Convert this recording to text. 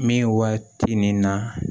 Min waati nin na